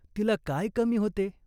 तिला काय कमी होते ?